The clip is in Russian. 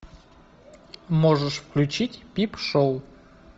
можешь включить пип шоу